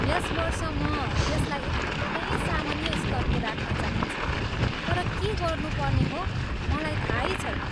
यस वर्ष म यसलाई एकदमै सामान्य स्तरको राख्न चाहन्छु, तर के गर्नुपर्ने हो, मलाई थाहै छैन।